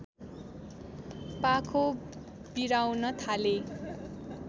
पाखो बिराउन थाले